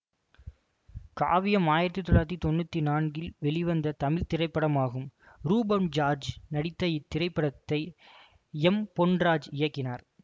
காவியம் ஆயிரத்தி தொள்ளாயிரத்தி தொன்னூற் நான்கில் வெளிவந்த தமிழ் திரைப்படமாகும் ரூபன் ஜார்ஜ் நடித்த இப்படத்தை எம் பொன்ராஜ் இயக்கினார்